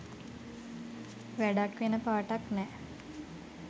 වැඩක් වෙන පාටක් නෑ.